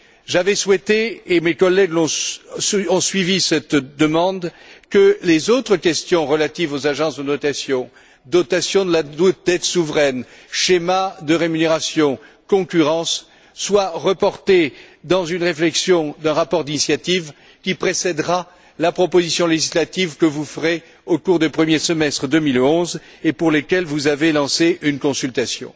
J'avais souhaité, et mes collègues ont suivi cette demande, que les autres questions relatives aux agences de notation, dotation de la dette souveraine, schéma de rémunérations, concurrence soient reportées dans une réflexion qui prendra la forme d'un rapport d'initiative qui précédera la proposition législative que vous ferez au cours du premier semestre 2011 et pour laquelle vous avez lancé une consultation.